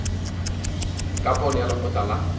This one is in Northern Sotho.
ka pono ya lekgotla la